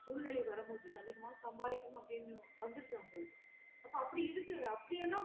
சூழ்நிலை வரும் போது அதிகம்மா சம்பாதிக்கணும் அப்டினு வந்துருது அவங்கழுக்கு அப்டி இருக்குது